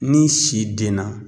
Ni si denna